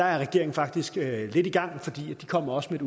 regeringen faktisk er lidt i gang for de kommer også med